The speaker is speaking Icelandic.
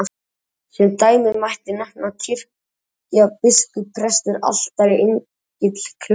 Sem dæmi mætti nefna kirkja, biskup, prestur, altari, engill, klaustur.